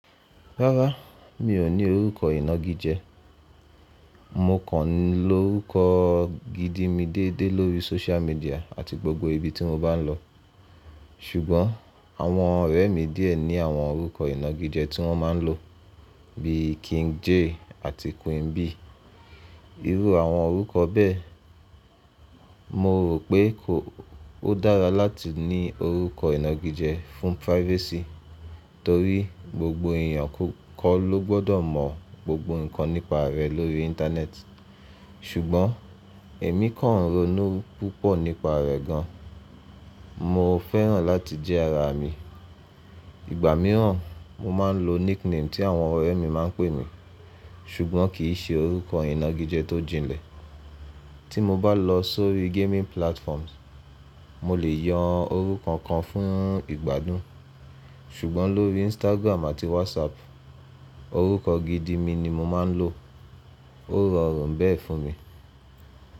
Rárá, mi ò ní orúkọ ìnagijẹ. Mo kàn lọrúkọ gidi mi déédé lórí social media àti gbogbo ibi tí mo bá n lọ. Ṣùgbọ́n àwọn ọ̀rẹ́ mi díẹ̀ ní àwọn orúkọ ìnagijẹ tí wọ́n má n lò bí King Jay àti Queen B. Irú àwọn orúkọ bẹ́ẹ̀. Mo rò pé kó ó dára láti ní orúkọ ìnagijẹ fún privacy torí gbogbo èèyàn ko kọ́ ló gbọdọ mọ gbogbo ǹkan nípa rẹ lórí íńtánẹ́ẹ̀tì. Ṣùgbọ́n èmi kàn ń ronú púpọ̀ nípa rẹ̀ gan. Mo fẹ́ràn láti jẹ́ ara mi. Ìgbà mìíràn mo má n lo nickname tí àwọn ọ̀rẹ́ mi má n pè mi, ṣùgbọ́n kìí ṣe orúkọ ìnagijẹ tó jinlẹ̀. Tí mo bá lọ sórí gaming platforms, mo lè yan orúkọ kan fún ìgbádùn. Ṣùgbọ́n lórí Instagram àti WhatsApp, orúkọ gidi mi ni mo má n lò. Ó rọrùn bẹ́ẹ̀ fún mi.